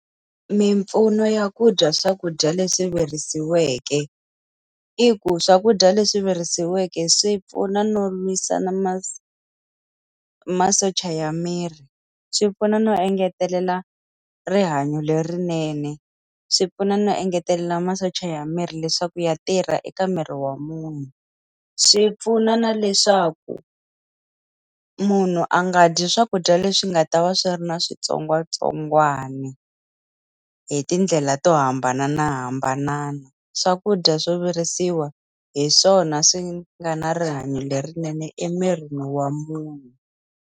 Mimpfuno ya ku dya swakudya leswi virisiweke, i ku swakudya leswi virisiweke swi pfuna no lwisana masocha ya miri. Swi pfuna no engetelela rihanyo lerinene, swi pfuna no engetelela masocha ya miri leswaku ya tirha eka miri wa munhu. Swi pfuna na leswaku, munhu a nga dyi swakudya leswi nga ta va swi ri na switsongwatsongwana hi tindlela to hambanahambana. Swakudya swo virisiwa hi swona swi nga na rihanyo lerinene emirini wa munhu.